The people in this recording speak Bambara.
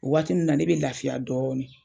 O waati ninnu na ne bɛ lafiya dɔɔni.